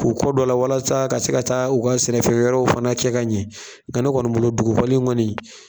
K'u kɔ dɔ a la walasa ka se ka taa u ka sɛnɛ feere yɔrɔ fana cɛ ka ɲɛ n ka ne kɔɔni bolo dugukɔli in kɔɔni.